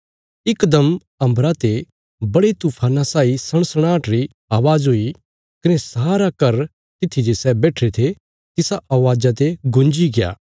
इकदम अम्बरा ते बड़े तूफाना साई सणसणाहट री अवाज़ हुई कने सारा घर तित्थी जे सै बैठिरे थे तिसा अवाजा ते गुंजीग्या